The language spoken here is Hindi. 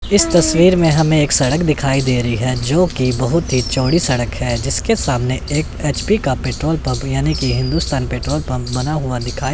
इस तस्वीर में हमें एक सड़क दिखाई दे रही है जो कि बहुत ही चौड़ी सड़क है जिसके सामने एक एच_पी का पेट्रोल पंप यानी कि हिंदुस्तान पेट्रोल पंप बना हुआ दिखाई--